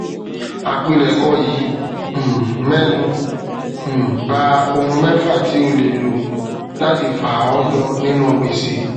àpilèkọ yìí um mẹnu um bá ohun mẹfà tí o lè lò láti fà ọ yọ nínú gbèsè